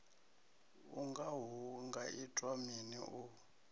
unga hu ngaitwa mini u